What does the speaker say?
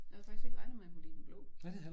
Jeg havde faktisk ikke regnet med at kunne lide den blå